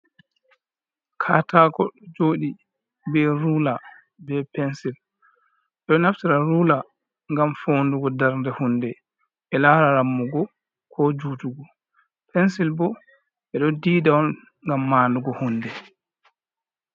Katako ɗo joɗi be rula, be pensil. Ɓedo naftira rula gam fondugo dar nde hunde ɓe lara rammugo, ko jutugo. pensil bo ɓe ɗo dida on ngam mandugo hunde.